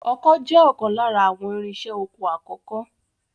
Ọkọ́ jẹ́ ọ̀kan lára àwọn irinṣẹ́ oko àkọ́kọ́